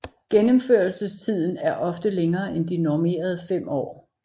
Gennemførelsestiden er ofte længere end de normerede fem år